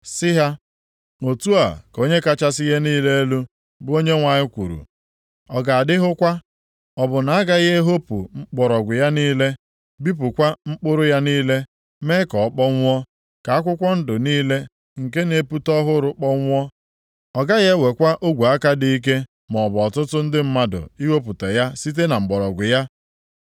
“Sị ha, ‘Otu a ka Onye kachasị ihe niile elu, bụ Onyenwe anyị kwuru: Ọ ga-adịhụkwa? Ọ bụ na agaghị ehopu mgbọrọgwụ ya niile, bipụkwa mkpụrụ ya niile mee ka ọ kpọnwụọ? Ka akwụkwọ ndụ niile nke na-epute ọhụrụ kpọnwụọ. Ọ gaghị ewekwa ogwe aka dị ike maọbụ ọtụtụ ndị mmadụ ihopụta ya site na mgbọrọgwụ ya.